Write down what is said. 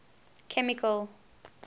chemical